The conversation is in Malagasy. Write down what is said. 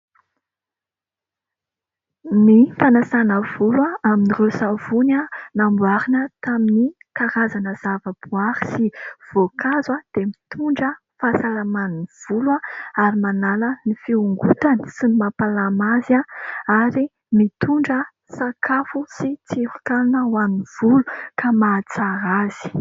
Ny fanasana volo amin'ireo savony namboarina taminy karazana zavaboaary sy voankazo dia mitondra fahasalaman'ny volo ary manala ny fiongotany sy ny mampalama azy ary mitondra sakafo sy tsiron-kanina ho an'ny volo ka mahatsara azy.